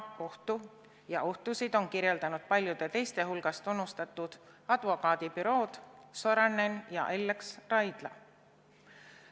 Neid ohtusid on paljude teiste hulgas kirjeldanud tunnustatud advokaadibürood Sorainen ja Ellex Raidla.